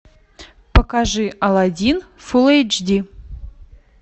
покажи алладин фулл эйч ди